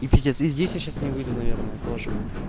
и пиздец и здесь сейчас я не выйду наверное тоже